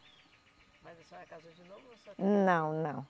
Mas a senhora casou de novo ou só teve. Não, não